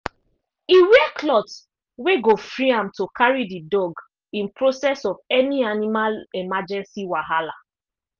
e wear cloth wey go free am to carry the dog in process of any animal emergency wahala